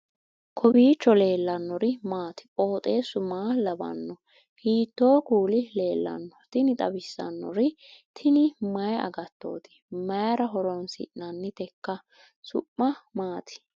kowiicho leellannori maati ? qooxeessu maa lawaanno ? hiitoo kuuli leellanno ? tini xawissannori tini mayi agattoti mayra horoonsi'nanniteiikka su'ma maati